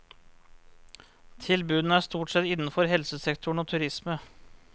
Tilbudene er stort sett innenfor helsesektoren og turisme.